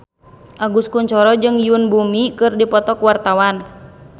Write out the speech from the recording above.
Agus Kuncoro jeung Yoon Bomi keur dipoto ku wartawan